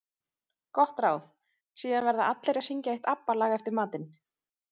Gott ráð: Síðan verða allir að syngja eitt ABBA lag eftir matinn.